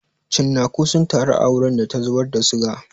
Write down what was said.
Cinnaku sun taru a wurin da ta zubar da suga.